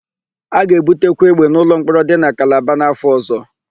A ga-ebutekwu égbè n'ụlọmkpọrọ dị na Kalaba n̄'áfọ̀ ọ̀zọ́.